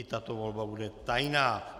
I tato volba bude tajná.